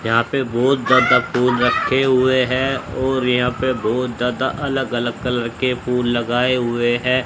यहाँ पे बहुत ज्यादा फूल रखे हुए हैं और यहाँ पे बहुत ज्यादा अलग-अलग कलर के फूल लगाए हुए हैं।